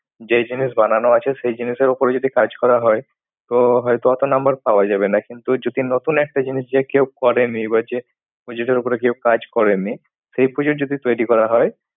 যেই জিনিস বানানো আছে সেই জিনিসের ওপরে যদি কাজ করা হয়। তো হয়তো অতো number পাওয়া যাবে না। কিন্তু যদি নতুন একটা জিনিস যে কেউ করেনি বা যে যেটার উপরে কেউ কাজ করেনি। সেই project যদি তৈরি করা হয়।